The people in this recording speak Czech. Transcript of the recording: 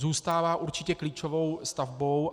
Zůstává určitě klíčovou stavbou.